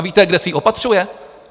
A víte, kde si ji opatřuje?